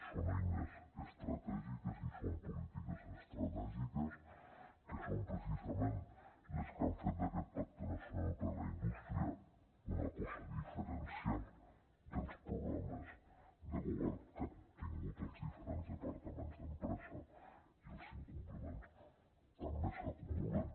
són eines estratègiques i són polítiques estratègiques que són precisament les que han fet d’aquest pacte nacional per a la indústria una cosa diferencial dels programes de govern que han tingut els diferents departaments d’empresa i els incompliments també s’acumulen